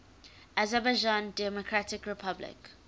azerbaijan democratic republic